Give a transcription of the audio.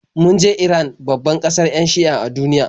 Mun je Iran, babbar kasar 'yan Shi'a a duniya.